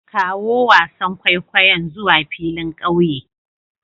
Kawo wasan kwaikwayon zuwa filin ƙauye